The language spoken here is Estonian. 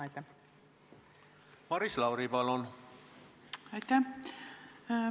Aitäh!